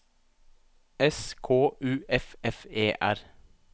S K U F F E R